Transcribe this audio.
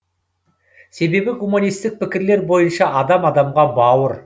себебі гуманисттік пікірлер бойынша адам адамға бауыр